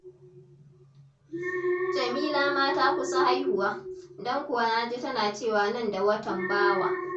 Jamila ma ta kusa haihuwa, don kuwa na ji tana cewa nan da Watan Bawa.